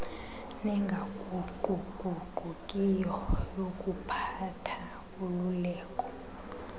nengaguquguqukiyo yokuphatha ululeko